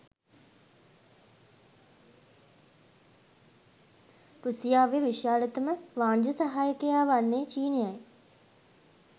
රුසියාවේ විශාලතම වාණිජ සහයකයා වන්නේ චීනයයි.